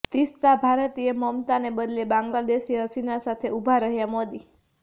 તિસ્તાઃ ભારતીય મમતાને બદલે બાંગ્લાદેશી હસીના સાથે ઉભા રહ્યાં મોદી